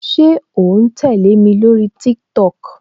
Ṣé o ń tẹle mi lórí TikTok?